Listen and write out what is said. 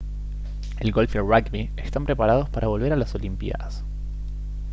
el golf y el rugby están preparados para volver a las olimpiadas